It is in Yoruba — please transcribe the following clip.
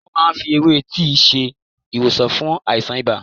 Wọ́́n máa ń fi ewé tíì ṣe ìwòsàn fún àìsàn ibà.